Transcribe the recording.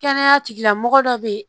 Kɛnɛya tigilamɔgɔ dɔ bɛ yen